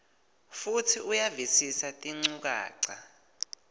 futsi uyavisisa tinchukaca